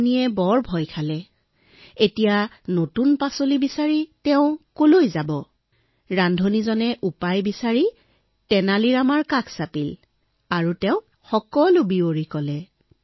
ৰান্ধনিয়ে ভয় খাই চিধাই তেনালী ৰামাৰ ওচৰলৈ গল